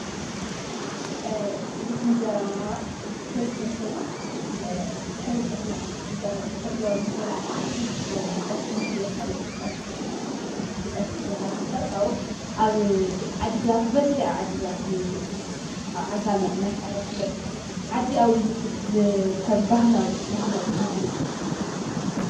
እዝ ኢንጀራ ፍርፍርሆይኖ ድኅሪ ጥ ጥሕሎ ምሰላዕኻ ድኅሪ ጥሕሎ ብጠስሚገኢልፍ ብጠስቢ ጌርካይፍፈር ካዉ ኣብ ዓዲግራት በዘኂ ዓዲግራት እዩ ኣብ ዓጋም እናተዋረ ስለጥ ዓዲኣዊ ኢልግከም ህላዊ ባህላዊ ምግቢ እዩ።